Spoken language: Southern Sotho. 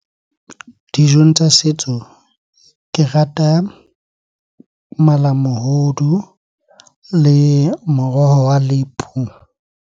Dijong tsa setso ke rata malamohodu le moroho wa lepu.